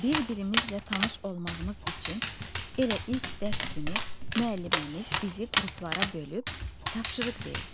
Bir-birimizlə tanış olmağımız üçün elə ilk dərs günü müəlliməmiz bizi qruplara bölüb tapşırıq verdi.